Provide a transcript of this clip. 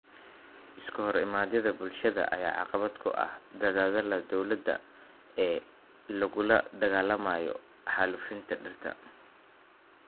Iskahorimaadyada bulshada ayaa caqabad ku ah dadaallada dowladda ee lagula dagaalamayo xaalufinta dhirta.